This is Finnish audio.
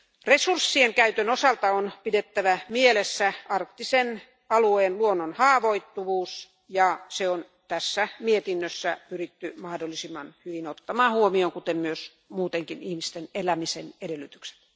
Resurssien käytön osalta on pidettävä mielessä arktisen alueen luonnon haavoittuvuus ja se on tässä mietinnössä pyritty mahdollisimman hyvin ottamaan huomioon, kuten myös muutenkin ihmisten elämisen edellytykset.